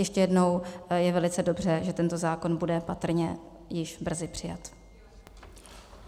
Ještě jednou, je velice dobře, že tento zákon bude patrně již brzy přijat.